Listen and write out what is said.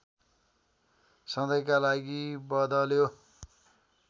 सधैँका लागि बद्ल्यो